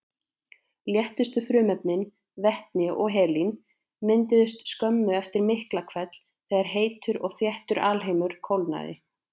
Léttustu frumefnin, vetni og helín, mynduðust skömmu eftir Miklahvell þegar heitur og þéttur alheimur kólnaði.